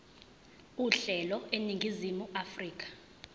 uhlelo eningizimu afrika